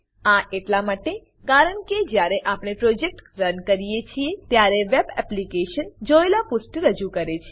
આ એટલા માટે કારણ કે જ્યારે આપણે પ્રોજેક્ટ પ્રોજેક્ટ રન કરીએ છીએ ત્યારે વેબ એપ્લિકેશન વેબ એપ્લીકેશન જોયેલા પુષ્ઠ રજૂ કરે છે